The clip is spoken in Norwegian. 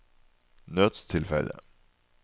nødstilfelle